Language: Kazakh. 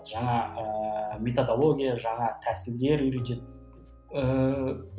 жаңа ыыы методология жаңа тәсілдер үйретеді ыыы